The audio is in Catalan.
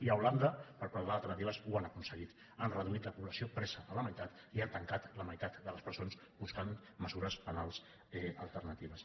i a holanda per parlar d’alternatives ho han aconseguit han reduït la població presa a la meitat i han tancat la meitat de les presons buscant mesures penals alternatives